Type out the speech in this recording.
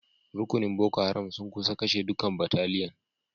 Rukunin Boko Haram sun kusa kashe dukan bataliyan.